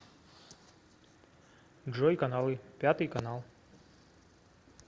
джой каналы пятый канал